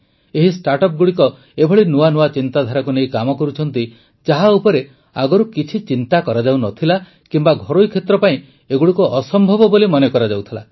ଏହି ଷ୍ଟାର୍ଟଅପ ଗୁଡ଼ିକ ଏଭଳି ନୂଆ ନୂଆ ଚିନ୍ତାଧାରାକୁ ନେଇ କାମ କରୁଛନ୍ତି ଯାହା ଉପରେ ଆଗରୁ କିଛି ଚିନ୍ତା କରାଯାଉନଥିଲା କିମ୍ବା ଘରୋଇ କ୍ଷେତ୍ର ପାଇଁ ଏଗୁଡ଼ିକୁ ଅସମ୍ଭବ ବୋଲି ମନେକରାଯାଉଥିଲା